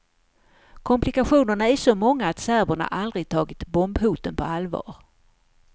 Komplikationerna är så många att serberna aldrig tagit bombhoten på allvar.